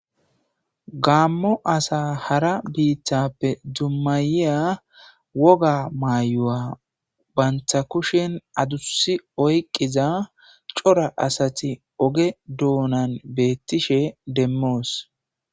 gaammo asa hara biittappe dummayiya woga maayu7a banta kushen adusi oyqqiza cora asati oge duonan beettishe demmoos